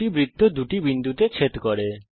দুটি বৃত্ত দুটি বিন্দুতে ছেদ করে